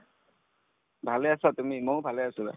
ভালে আছা তুমি ময়ো ভালে আছো